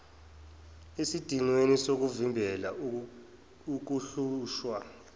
esidingweni sokuvimbela ukuhlushwa